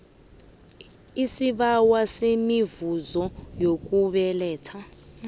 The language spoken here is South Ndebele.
isibawo semivuzo yokubeletha